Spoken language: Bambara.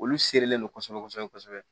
Olu serilen non kosɛbɛ kosɛbɛ